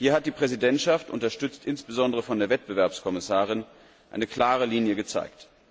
Hier hat die Präsidentschaft, unterstützt insbesondere von der Wettbewerbskommissarin, eine klare Linie gezeigt.